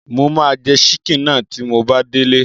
Mo máa jẹ ṣíkìnnì náà tí mo bá délé